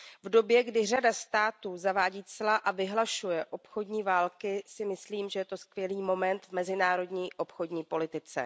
V době, kdy řada států zavádí cla a vyhlašuje obchodní války, si myslím, že je to skvělý moment v mezinárodní obchodní politice.